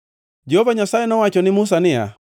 Jehova Nyasaye nowacho ne Musa niya,